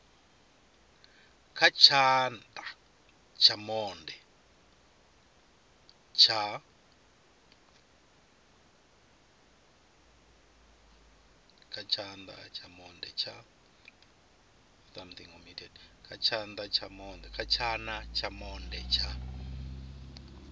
kha tshana tsha monde tsha